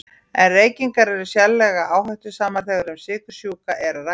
En reykingar eru sérlega áhættusamar þegar um sykursjúka er að ræða.